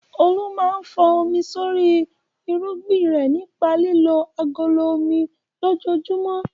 Olu máa ń fọ́n omi sórí irúgbìn rẹ̀ nípa lílo agolo omi lójoojúmọ́.